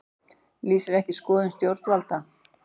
Lýsir ekki skoðun stjórnvalda